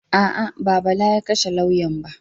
A'a, ba Bala ya kashe lauyan ba.